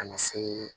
Ka na se